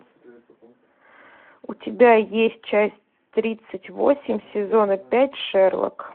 у тебя есть часть тридцать восемь сезона пять шерлок